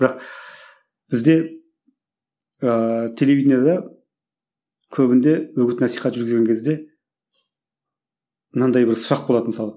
бірақ бізде ыыы телевиденияда көбінде үгіт насихат жүргізген кезде мынандай бір сұрақ болады мысалы